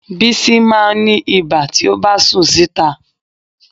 Bísí máa ń ní ibà tí ó bá sùn síta